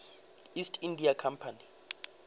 east india company